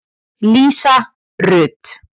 Lísa Rut.